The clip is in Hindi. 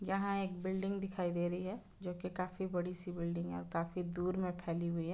यहा एक बिल्डिंग दिखाई दे रही है जोकी काफी बड़ी सी बिल्डिंग है और काफी दूर मे फैली हुई है।